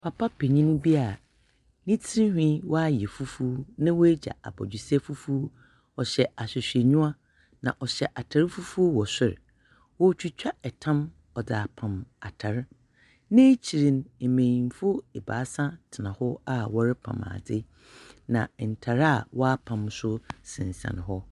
Papa panin bi a ne tsirnwi wayɛ fufuw, na wagya abɔdwesɛ fufuw. Ɔhyɛ ahwehwɛniwa, na ɔhyɛ atar fufuɔ wɔ sor. Oritwitwa tam ɔdze apam atr. N'ekyir no, mbenyimfo ebaasa tena hɔ a wɔrepan adze, na ntar a wɔapam no nso sensɛn hɔ.